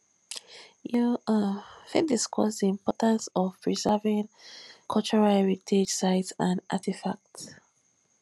you um fit discuss di importance of preserving um cultural heritage sites and artifacts